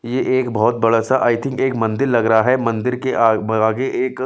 ये एक बहुत बड़ा सा आई थिंक एक मंदिर लग रहा है मंदिर के आ आगे एक --